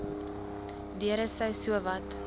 deure sou sowat